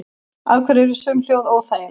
Af hverju eru sum hljóð óþægileg?